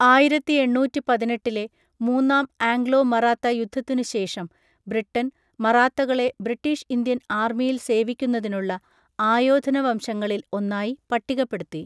ആയിരത്തിഎണ്ണൂറ്റിപതിനെട്ടിലെ മൂന്നാം ആംഗ്ലോ മറാത്ത യുദ്ധത്തിനു ശേഷം ബ്രിട്ടൻ, മറാത്തകളെ ബ്രിട്ടീഷ് ഇന്ത്യൻ ആർമിയിൽ സേവിക്കുന്നതിനുള്ള ആയോധന വംശങ്ങളിൽ ഒന്നായി പട്ടികപ്പെടുത്തി.